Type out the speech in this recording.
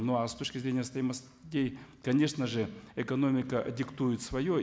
ну а с точки зрения стоимостей конечно же экономика диктует свое